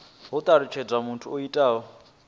ho talutshedzwa muthu o itaho